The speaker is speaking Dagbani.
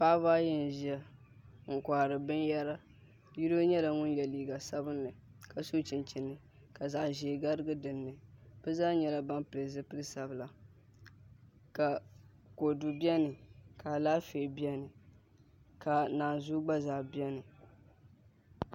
Paɣaba ayi n ʒiya n kohari binyɛra yino nyɛla ŋun yɛ liiga sabinli ka so chinchini ka zaɣ ʒiɛ garigi dinni bi zaa nyɛla ban pili zipili sabila ka kodu biɛni ka Alaafee biɛni ka naanzuu gba zaa biɛni